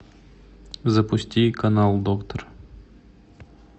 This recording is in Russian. запусти канал доктор